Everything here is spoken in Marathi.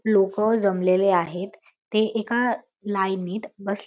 लोक जमलेले आहेत ते एका लाईनीत बस--